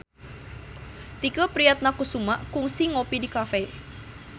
Tike Priatnakusuma kungsi ngopi di cafe